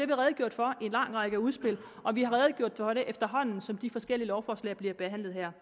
vi redegjort for i en lang række udspil og vi har redegjort for det efterhånden som de forskellige lovforslag bliver behandlet her